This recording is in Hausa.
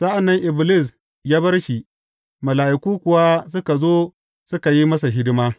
Sa’an nan Iblis ya bar shi, mala’iku kuwa suka zo suka yi masa hidima.